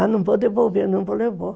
Ah, não vou devolver, não vou levar.